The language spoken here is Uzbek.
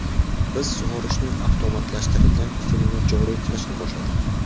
Biz sug‘orishning avtomatlashtirilgan usulini joriy qilishni boshladik.